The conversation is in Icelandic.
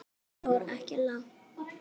En hún fór ekki langt.